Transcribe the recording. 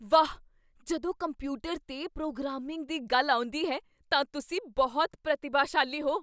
ਵਾਹ! ਜਦੋਂ ਕੰਪਿਊਟਰ 'ਤੇ ਪ੍ਰੋਗਰਾਮਿੰਗ ਦੀ ਗੱਲ ਆਉਂਦੀ ਹੈ ਤਾਂ ਤੁਸੀਂ ਬਹੁਤ ਪ੍ਰਤਿਭਾਸ਼ਾਲੀ ਹੋ।